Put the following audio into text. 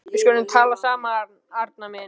Við skulum tala saman, Arnar minn.